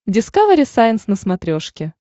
дискавери сайенс на смотрешке